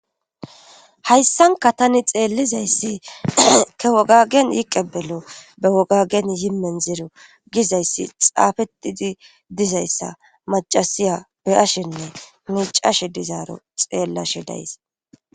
hayssanka tani xeellizayssi ke wogagen yiqebelo be wogagen yimen zero gizayssi xaafetidi dizayssa macasiya be ashenne miicashe dizaaro xeellashe days